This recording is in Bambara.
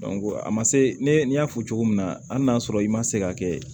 a ma se ne y'a fɔ cogo min na hali n'a sɔrɔ i ma se ka kɛ